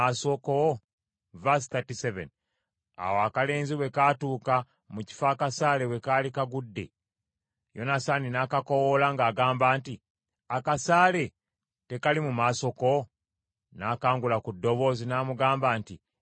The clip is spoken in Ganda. N’akangula ku ddoboozi, n’amugamba nti, “Yanguwa, genda mangu, tolwawo.” Akalenzi ne kakima akasaale, ne kakomawo eri mukama waako.